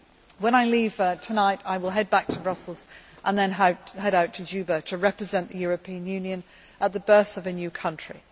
South Sudan. When I leave tonight I will head back to Brussels and then out to Juba to represent the European Union at the birth of